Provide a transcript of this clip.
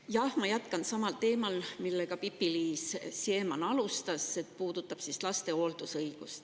Jah, ma jätkan samal teemal, millega Pipi-Liis Siemann alustas, see puudutab laste hooldusõigust.